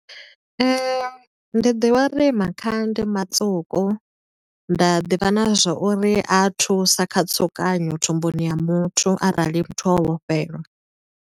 Ndi ḓivha uri makhaha ndi matswuku, nda ḓivha na zwo uri a thusa kha tsukanyo thumbuni ya muthu arali muthu o vhofhelwa.